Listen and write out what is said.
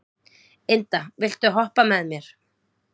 Inda, viltu hoppa með mér?